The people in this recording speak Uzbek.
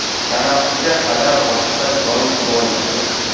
Tanaffusga qadar boshqa gol bo‘lmadi.